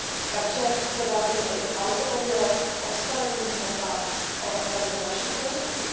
Takže se bavíme i o automobilech, o stavebních hmotách, o řadě dalších produktů.